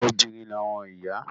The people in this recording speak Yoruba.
Obìnrin ni àwọn ìyá.